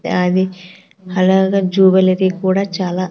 అది అలాగ జువెలరీ కూడా చాలా.